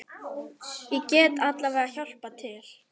Ég get alveg hjálpað til.